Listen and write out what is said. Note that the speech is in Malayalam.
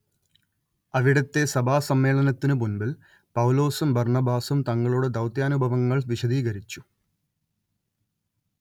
അവിടത്തെ സഭാസമ്മേളനത്തിന് മുൻപിൽ പൗലോസും ബർണ്ണബാസും തങ്ങളുടെ ദൗത്യാനുഭവങ്ങൾ വിശദീകരിച്ചു